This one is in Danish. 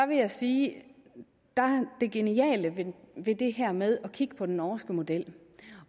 vil jeg sige er det geniale ved det her med at kigge på den norske model